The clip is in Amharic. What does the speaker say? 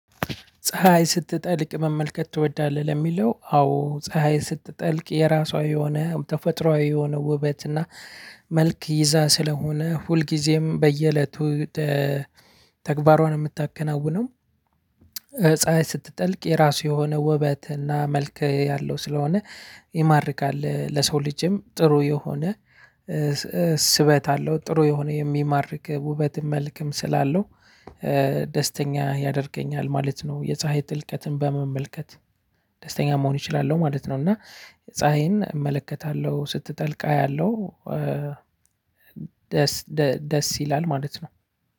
ፀሀይ ስትጠልቅ መመልከት ትወዳለህ? ለሚለው አዎ ፀሀይ ስትጠልቅ የራሷ የሆነ ተፈጥሮአዊ የሆነ ውበት እና መልክ ይዛ ስለሆነ ሁልጊዜም በየእለቱ እ ተግባሯን የምታከናውነው እ ፀሀይ ስትጠልቅ የራሱ የሆነ ውበት እና መልከ ያለው ስለሆነ ይማርካል ለሰው ልጅም ጥሩ የሆነ እ ስበት አለው ጥሩ የሆነ የሚማርክ ውበትም መልክም ስላለው እ ደስተኛ ያደርገኛል ማለት ነው። የፀሀይ ጥልቀትን በመመልከት ደስተኛ መሆን አችላለሁ ማለት ነውና። ፀሀይን እመለከታለሁ ስትጠልቅ አያለው እ ደስ ይላል ማለት ነው።